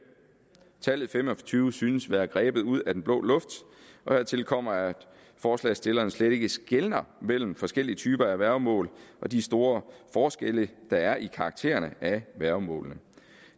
tallet fem og tyve synes at være grebet ud af den blå luft hertil kommer at forslagsstillerne slet ikke skelner mellem forskellige typer værgemål og de store forskelle der er i karakteren af værgemålene